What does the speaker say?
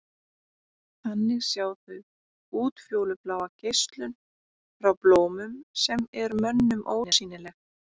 Þannig sjá þau útfjólubláa geislun frá blómum sem er mönnum ósýnileg.